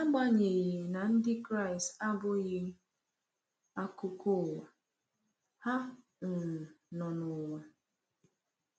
N’agbanyeghị na Ndị Kraịst abụghị akụkụ ụwa, ha um nọ n’ụwa.